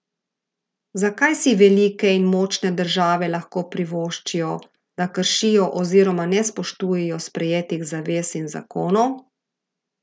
Zakaj si velike in močne države lahko privoščijo, da kršijo oziroma ne spoštujejo sprejetih zavez in zakonov?